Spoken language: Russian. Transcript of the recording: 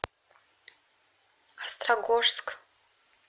острогожск